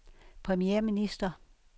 premierminister